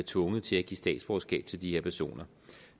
tvunget til at give statsborgerskab til de her personer